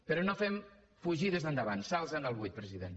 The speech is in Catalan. però no fem fugides endavant salts en el buit president